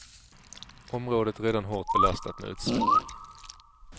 Området är redan hårt belastat med utsläpp.